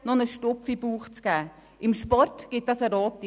Kommissionspräsident der GSoK.